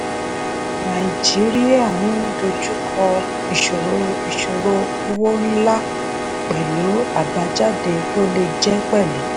nàìjíríà ń dojú kọ ìṣòro ìṣòro owó ńlá pẹ̀lú àbájáde tó le jẹ́ pẹ̀lú.